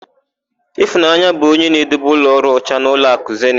Ịfụnanya bụ onye na-edebe ụlọọrụ ọcha n'ụlọakụ zenit.